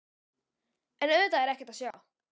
En auðvitað er ekkert að sjá.